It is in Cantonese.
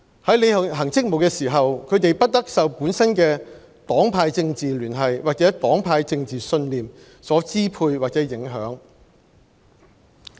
在履行職務時，他們不得受本身的政治聯繫或政治信念所支配或影響。